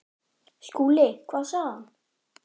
SKÚLI: Hvað sagði hann?